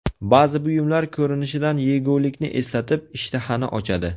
Ba’zi buyumlar ko‘rinishidan yegulikni eslatib, ishtahani ochadi.